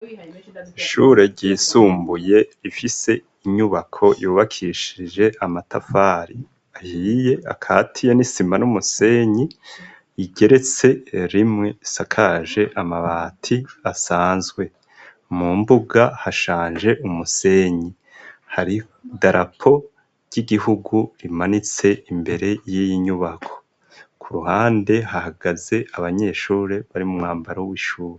Ishure ryisumbuye ifise inyubako yubakishije amatafari ahiye akatiye n'isima n'umusenyi igeretse rimwe sakaje amabati asanzwe mu mbuga hashanje umusenyi hari darapo ry'igihugu rimanitse imbere y'iinyubako ku ruhande hahagaze abanyeshure bari mu mwambaro w'ishure.